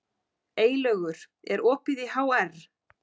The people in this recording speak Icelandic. Eylaugur, er opið í HR?